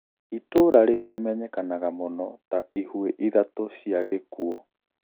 Itũra riu rimenyekanaga mũno ta "ihue ithatũ cia gikuo"